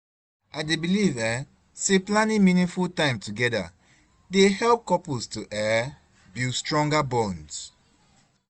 I dey believe um say planning meaningful time together dey help couples to um build stronger bonds.